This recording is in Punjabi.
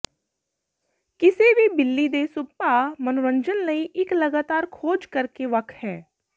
ਕਿਸੇ ਵੀ ਬਿੱਲੀ ਦੇ ਸੁਭਾਅ ਮਨੋਰੰਜਨ ਲਈ ਇੱਕ ਲਗਾਤਾਰ ਖੋਜ ਕਰ ਕੇ ਵੱਖ ਹੈ